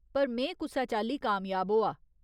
पर में कुसै चाल्ली कामयाब होआ।